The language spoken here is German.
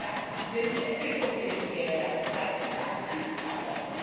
Das sind Entwicklungshilfegelder, das ist keine Kriegskasse!